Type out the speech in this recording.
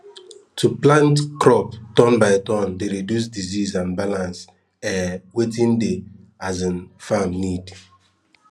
to plant crop turn by turn dey reduce disease and balance um wetin de um farm need